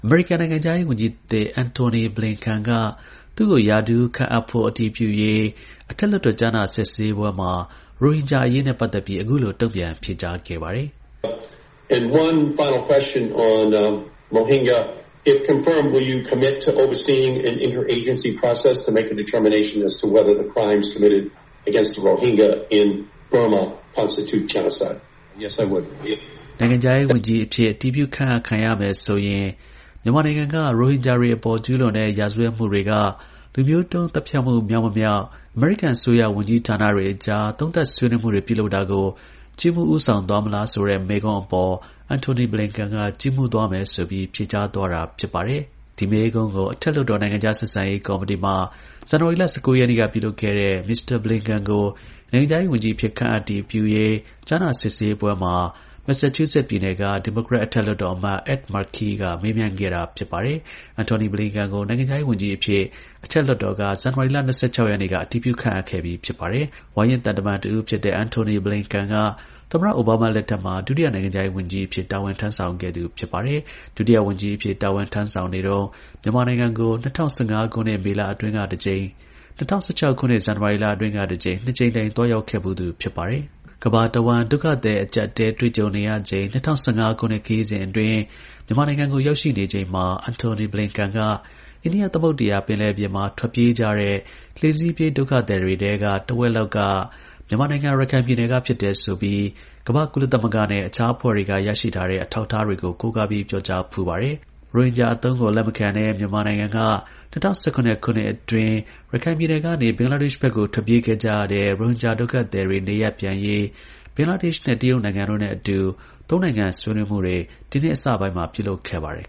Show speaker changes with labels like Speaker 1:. Speaker 1: မေရိကန် နိုင်ငံခြားရေး ဝန်ကြီးသစ် Antony Blinken က သူ့ကို ရာထူး ရာထူး ခန့်အပ် ဖို့ အတည်ပြုရေး အထက်လွှတ်တော် ကြားနာ စစ်ဆေးပွဲမှာ ရိုဟင်ဂျာအရေးနဲ့ပတ်သက်ပြီး အခုလို တုံ့ပြန် ဖြေကြားခဲ့ပါတယ်။ နိုင်ငံခြားရေးဝန်ကြီးအဖြစ် အတည်ပြု ခန့်အပ်ခံရမယ်ဆိုရင် မြန်မာနိုင်ငံက ရိုဟင်ဂျာတွေ အပေါ်ကျူးလွန်တဲ့ ရာဇဝတ်မှုတွေက လူမျိုးတုန်း သတ်ဖြတ်မှု မြောက်မမြောက် အမေရိကန် အစိုးရ ဝန်ကြီးဌာနတွေအကြား သုံးသပ်ဆွေးနွေးမှုတွေ ပြုလုပ်တာကို ကြီးမှူးဦးဆောင် သွား မလားလို့ Massachusettes ပြည်နယ်၊ အထက်လွှတ်တော်အမတ် Ed Murkey ရဲ့ မေးခွန်းအပေါ် Antony Blinken က ကြီးမှူးသွားမယ်ဆိုပြီး ဖြေကြားသွားတာပါ။ ဒီ မေးခွန်းကို အထက်လွှတ်တော် နိုင်ငံခြား ဆက်ဆံရေး ကော်မတီမှာ ဇန်နဝါရီလ ၁၉ ရက်နေ့က ပြုလုပ်တဲ့ Mr. Blinken ကို နိုင်ငံခြားရေးဝန်ကြီး အဖြစ် ခန့်အပ်အတည် ပြုရေး ကြားနာ စစ်ဆေးပွဲမှာ မက်ဆာချူးဆက်ပြည်နယ်က ဒီမိုကရက် အထက် လွှတ်တော် အမတ် Ed Merkey က မေးမြန်းခဲ့တာ ဖြစ်ပါတယ်။ Antony Blinken ကို နိုင်ငံခြားရေး ဝန်ကြီးအဖြစ် အထက်လွှတ်တော်က ဇန်နဝါရီ ၂၆ရက်နေ့က အတည်ပြုခန့်အပ်ခဲ့ပြီးဖြစ်ပါတယ်။ ဝါရင့် သံတမန် တစ်ဦး ဖြစ်သူ Antony Blinken က သမ္မတ ဘားရက် အိုဘားမား လက်ထက်မှာ ဒုတိယ နိုင်ငံခြားရေး ဝန်ကြီး အဖြစ် တာဝန် ထမ်းဆောင်ခဲ့သူ ဖြစ်ပါတယ်။ ဒုတိယ ဝန်ကြီးအဖြစ် တာဝန် ထမ်းဆောင်နေတုန်းမှာ မြန်မာနိုင်ငံကို ၂၀၁၅ ခုနှစ် မေလအတွင်းက တစ်ကြိမ်နဲ့ ၂၀၁၆ ခုနှစ် ဇန်နဝါရီ လအတွင်းက တစ်ကြိမ်၊ နှစ်ကြိမ်တိုင် သွားရောက်ခဲ့ဖူးသူ ဖြစ်ပါတယ်။ ကမ္ဘာ တစ်ဝှမ်း ဒုက္ခသည် အကျပ်အတည်းတွေ့ကြုံနေရချိန် ၂၀၁၅ ခုနှစ် ခရီးစဉ်အတွင်း မြန်မာနိုင်ငံကို လာရောက်တဲ့ အချိန်မှာ Antony Blinken က အိန္ဒိယ သမုဒ္ဒရာ ပင်လယ်ပြင်မှာ ထွက်ပြေးကြတဲ့ လှေစီးပြေးဒုက္ခသည်တွေထဲက တဝက်လောက်က မြန်မာ နိုင်ငံ ရခိုင် ပြည်နယ်က ဖြစ်တယ်ဆိုပြီး ကမ္ဘာ့ကုလသမဂ္ဂ နဲ့ အခြားအဖွဲ့တွေ ကနေ ရရှိထားတဲ့ အထောက်အထားတွေ ကိုးကားပြီး ပြောကြားဖူးပါတယ်။ ရိုဟင်ဂျာ အသုံးကို လက်မခံတဲ့ မြန်မာနိုင်ငံက ၂၀၁၇ ခုနှစ် အတွင်းရခိုင်ပြည်နယ်ကနေ ဘင်္ဂလားဒေ့ရှ်ဘက်ကို ထွက်ပြေး ခဲ့ကြတဲ့ ရိုဟင်ဂျာ ဒုက္ခသည်တွေ နေရပ်ပြန်ရေး ဘင်္ဂလားဒေ့ရှ်နဲ့ တရုတ်နိုင်ငံနဲ့အတူ သုံးနိုင်ငံ ဆွေးနွေးမှုတွေ ဒီနှစ်အစပိုင်းမှာပြုလုပ်ခဲ့ပါတယ်